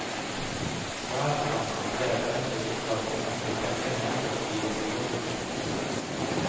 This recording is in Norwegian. Svær, komma bredbeint og litt vaggende med begge hender i jakkelommene. punktum